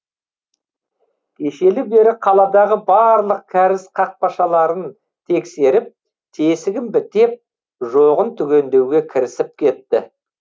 кешелі бері қаладағы барлық кәріз қақпақшаларын тексеріп тесігін бітеп жоғын түгендеуге кірісіп кетті